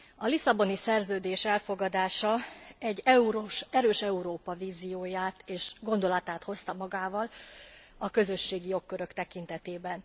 A Lisszaboni Szerződés elfogadása egy erős Európa vízióját és gondolatát hozta magával a közösségi jogkörök tekintetében.